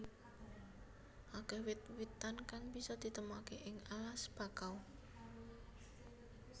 Akeh wit witan kang bisa ditemokaké ing alas bakau